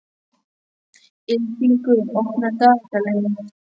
Ylfingur, opnaðu dagatalið mitt.